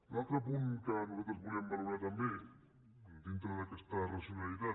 l’altre punt que nosaltres volíem valorar també dintre d’aquesta racionalitat